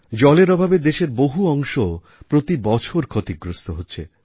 জলের অভাবে দেশের বহু অংশ প্রতিবছর ক্ষতিগ্রস্ত হচ্ছে